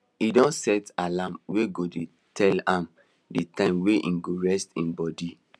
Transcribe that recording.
he don set alarm wey go dey tell am the time wey he go rest him body